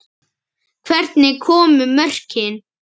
Hvernig komu mörkin?